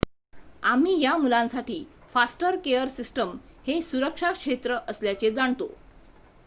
आम्ही या मुलांसाठी फॉस्टर केअर सिस्टम हे सुरक्षा क्षेत्र असल्याचे जाणतो